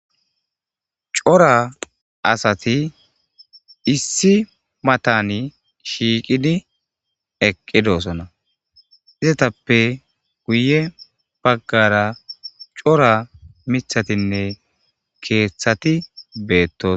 Cora asati issi matan shiiqidi eqidosona, izetappeka guye bagara cora mithatinne keethati betosona